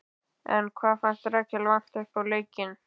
En hvað fannst Rakel vanta uppá í leiknum?